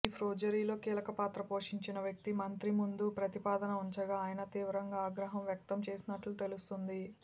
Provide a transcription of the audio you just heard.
ఈ ఫోర్జరీలో కీలకపాత్ర పోషించిన వ్యక్తి మంత్రి ముందు ప్రతిపాదన ఉంచగా ఆయన తీవ్రంగా ఆగ్రహం వ్యక్తంచేసినట్లు తెలుస్తోంది